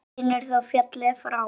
Vinur þó féllir frá.